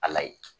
Ala ye